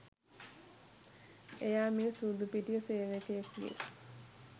එයා මේ සූදු පිටිය සේවකයකුගේ